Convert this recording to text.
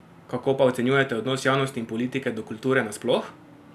Kako pa ocenjujete odnos javnosti in politike do kulture nasploh?